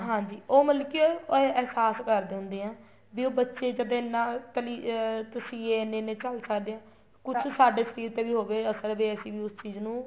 ਹਾਂਜੀ ਉਹ ਮਤਲਬ ਕੀ ਅਹਿਸਾਸ ਕਰਦੇ ਹੁੰਦੇ ਏ ਵੀ ਉਹ ਬੱਚੇ ਜਦ ਇਹਨਾ ਅਹ ਤਸੀਹੇ ਇੰਨੇ ਇੰਨੇ ਝੱਲ ਸਕਦੇ ਹਾਂ ਕੁੱਛ ਸਾਡੇ ਸ਼ਰੀਰ ਤੇ ਵੀ ਹੋਵੇ ਅਸਰ ਵੇ ਅਸੀਂ ਵੀ ਉਸ ਚੀਜ਼ ਨੂੰ